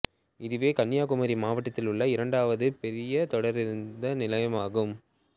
இதுவே கன்னியாகுமரி மாவட்டத்தில் உள்ள இரண்டாவது பெரிய தொடருந்து நிலையமாகும்